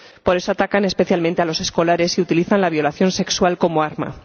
Por eso, atacan especialmente a los escolares y utilizan la violación sexual como arma.